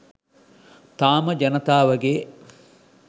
තාම ජනතාවගේ